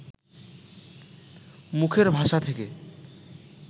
মুখের ভাষা থেকে